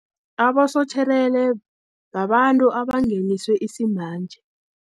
Abasotjherere babantu abangeniswe isimanje.